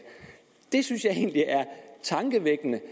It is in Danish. det synes jeg egentlig er tankevækkende